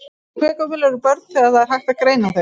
Og hve gömul eru börn þegar það er hægt að greina þau?